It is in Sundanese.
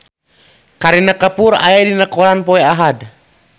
Kareena Kapoor aya dina koran poe Ahad